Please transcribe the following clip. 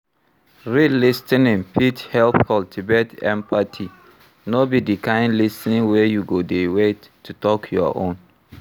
Real lis ten ing fit help cultivate empathy, no be di kind lis ten ing wey you go dey wait to talk your own